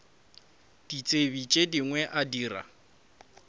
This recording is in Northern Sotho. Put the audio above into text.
ditsebi tše dingwe a dira